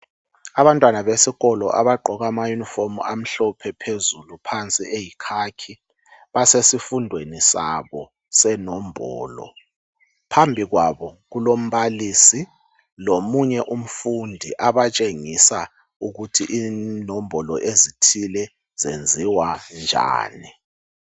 Abantwana besikolo abagqoka amayunifomu amhlophe phezulu phansi eyikhakhi basesifundweni sabo senombolo phambili kwabo kulombalisi lomunye umfundi abatshengisa ukuthi inombolo ezithile zenziwa njani .